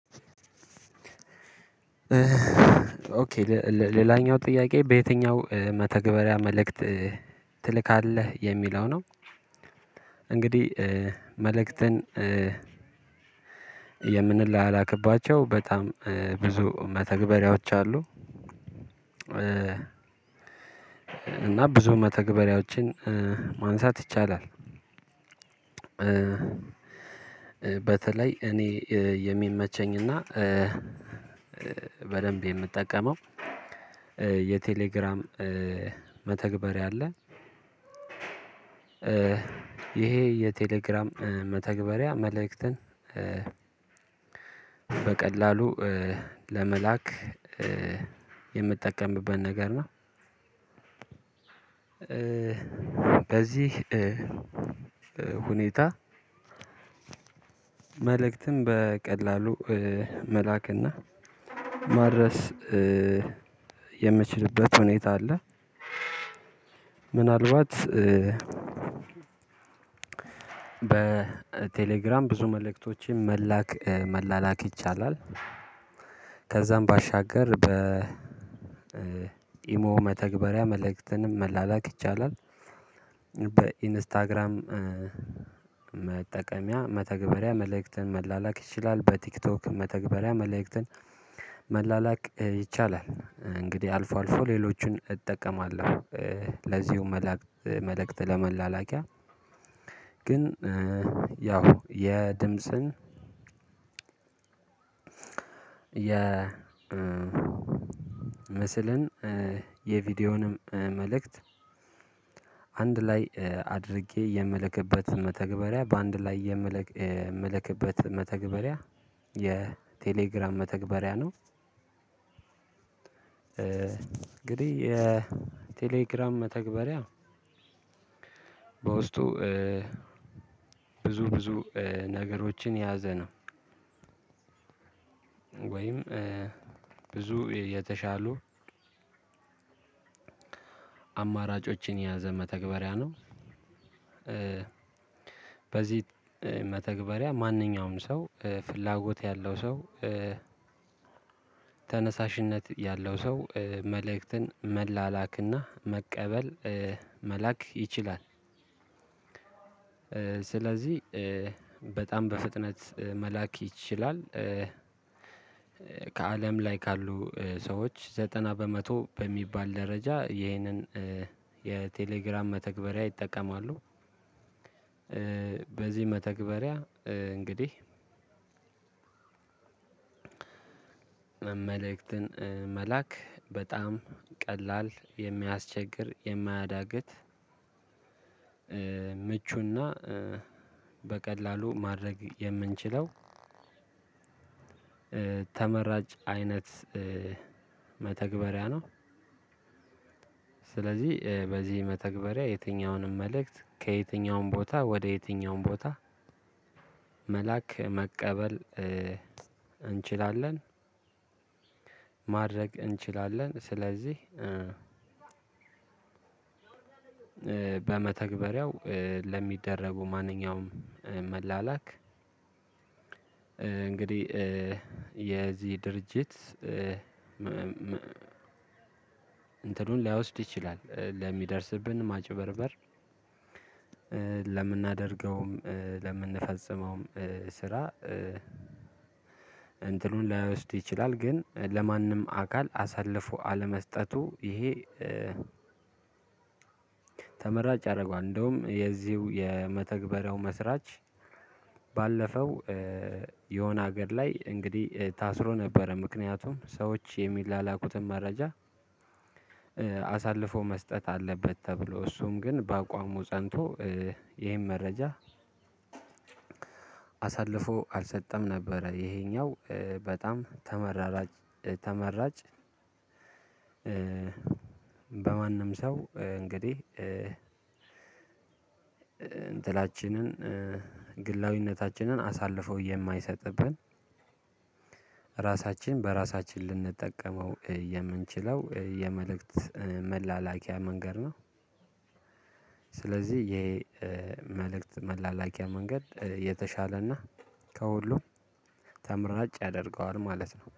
ኦኬ ሌላኛው ጥያቄ በየትኛው መተግበሪያ መልእክት ትልካለህ የሚለው ነው? እንግዲህ መልእክትን የምንላላክባቸው በጣም ብዙ መተግበሪያዎች አሉ። እና ብዙ መተግበሪያዎችን ማንሳት ይቻላል። በተለይ እኔ የሚመቸኝና በደንብ የምጠቀመው የቴሌግራም መተግበሪያ አለ። ይሄ የቴሌግራም መተግበሪያ መልእክትን በቀላሉ ለመላክ የምትጠቀምበት ነገር ነው። በዚህ ሁኔታ መልእክትም በቀላሉ መላክና ማድረስ የምችልበት ሁኔታ አለ። ምናልባት በቴሌግራም ብዙ መልእክቶችን መላክ መላላክ ይቻላል። ከዛም ባሻገር በ ኢሞ መተግበሪያ መልእክትንም መላላክ ይቻላል። በኢንስታግራም መጠቀሚያ መተግበሪያ መልእክትን መላላክ ይችላል። በቲክቶክ መተግበሪያ መልእክትን መላላክ ይቻላል። እንግዲህ አልፎ አልፎ ሌሎቹን እጠቀማለሁ። ለዚሁ መላእክት መልእክት ለመላላኪያ ግን ያው የድምጽን የምስልን የቪዲዮውንም መልእክት አንድ ላይ አድርጌ የምልክበት መተግበሪያ በአንድ ላይ የምልክበት መተግበሪያ የቴሌግራም መተግበሪያ ነው። እንግዲህ የቴሌግራም መተግበሪያ በውስጡ ብዙ ብዙ ነገሮችን ያዘነው ወይም ብዙ የተሻሉ አማራጮችን የያዘ መተግበሪያ ነው። በዚህ መተግበሪያ ማንኛውንም ሰው ፍላጎት ያለው ሰው ተነሳሽነት ያለው ሰው መልእክትን መላላክና መቀበል መላክ ይችላል። ስለዚህ በጣም በፍጥነት መላክ ይችላል ከአለም ላይ ካሉ ሰዎች ዘጠና በመቶ በሚባል ደረጃ ይህንን የቴሌግራም መተግበሪያ ይጠቀማሉ። በዚህ መተግበሪያ እንግዲህ መልእክትን መላክ በጣም ቀላል የሚያስቸግር የማያዳግት ምቹና በቀላሉ ማድረግ የምንችለው ተመራጭ አይነት መተግበሪያ ነው። ስለዚህ በዚህ መተግበሪያ የትኛውንም መልእክት ከየትኛውም ቦታ ወደ የትኛውም ቦታ መላክ መቀበል እንችላለን። ማድረግ እንችላለን ስለዚህ በመተግበሪያው ለሚደረጉ ማንኛውም መላላክ እንግዲህ የዚህ ድርጅት እንትን እንትኑን ላይወስድ ይችላል። ለሚደርስብን ማጭበርበር ለምናደርገውም ለምንፈጽመውም ስራ እንትኑን ላይወስድ ይችላል። ግን ለማንም አካል አሳልፎ አለመስጠቱ ይሄ ተመራጭ ያረገዋል። እንደውም የዚሁ የመተግበሪያው መስራች ባለፈው የሆነ ሀገር ላይ እንግዲህ ታስሮ ነበረ ምክንያቱም ሰዎች የሚላላኩትን መረጃ አሳልፎ መስጠት አለበት ተብሎ እሱም ግን በአቋሙ ጸንቶ ይሄን መረጃ አሳልፎ አልሰጠም ነበረ። ይሄኛው በጣም ተመራጭ ተመራጭ በማንም ሰው እንግዲህ እንትናችንን ግላዊነታችንን አሳልፎ የማይሰጥብን ራሳችን በራሳችን ልንጠቀመው የምንችለው የመልእክት መላላኪያ መንገድ ነው። ስለዚህ ይሄ መልእክት መላላኪያ መንገድ የተሻለና ከሁሉም ተምራጭ ያደርገዋል ማለት ነው